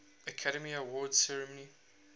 academy awards ceremony